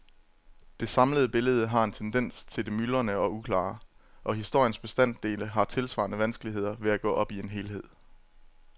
Det samlede billede har en tendens til det myldrende og uklare, og historiens bestanddele har tilsvarende vanskeligheder ved at gå op i en helhed.